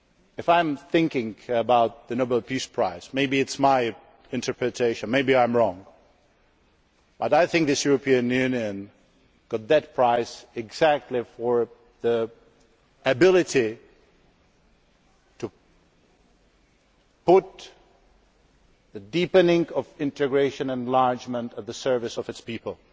Prize. If I think about the Nobel Peace Prize maybe it is my interpretation, maybe I am wrong I think this European Union got that prize exactly for its ability to put the deepening of integration and enlargement at the service of its